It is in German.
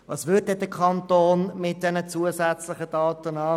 Was würde der Kanton dann mit diesen zusätzlichen Daten tun?